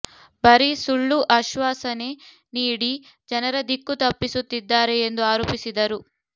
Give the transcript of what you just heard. ಬರೀ ಸುಳ್ಳು ಆಶ್ವಾ ಸನೆ ನೀಡಿ ಜನರ ದಿಕ್ಕು ತಪ್ಪಿಸುತ್ತಿದ್ದಾರೆ ಎಂದು ಆರೋಪಿಸಿದರು